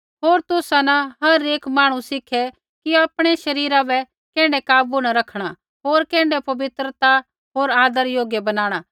होर तुसा न हर एक मांहणु सिखै कि आपणै शरीरा बै कैण्ढै काबू न रखणा होर कैण्ढै पवित्रता होर आदर योग्य बनाणा